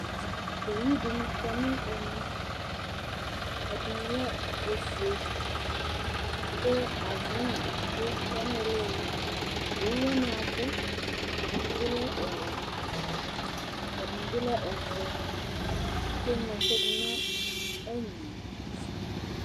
Owu dɩnɩ kɔ nʋ ɛmɛ Ɛdɩnɩ lɛ ofue kʋ avɩɔn edigbo ya nʋ ɩɩlɩ ɩɩlɩ Owu wanɩ abʋ, ɛdɩnɩ bɩ lɛ ɔwɛ, ɛdɩnɩ bɩ lɛ ɔvɛ kʋ eŋlo ɛkʋ dʋ nʋ ɛnyɔ yɛ